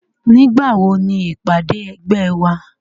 Nígbà wo ni ìpàdé ẹgbẹ́ wa